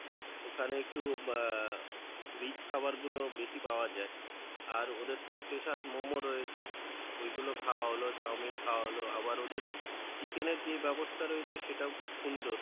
ওখানে একটু আহ rich খাওয়ার গুলো বেশি পাওয়া যাই, আর ওদের তো special momo রয়েছে ওইগুলো খাওয়া হলো, chowmein খাওয়া হলো আবার ওদের chicken এর যে ব্যাবস্থা রয়েছে সেটাও খুব সুন্দর,